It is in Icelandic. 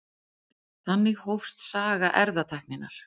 Þannig hófst saga erfðatækninnar.